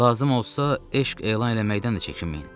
Lazım olsa, eşq elan eləməkdən də çəkinməyin.